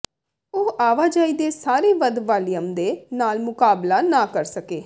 ਉਹ ਆਵਾਜਾਈ ਦੇ ਸਾਰੇ ਵਧ ਵਾਲੀਅਮ ਦੇ ਨਾਲ ਮੁਕਾਬਲਾ ਨਾ ਕਰ ਸਕੇ